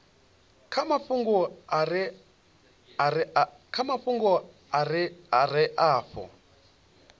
kha mafhungo a re afho